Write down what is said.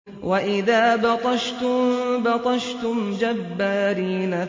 وَإِذَا بَطَشْتُم بَطَشْتُمْ جَبَّارِينَ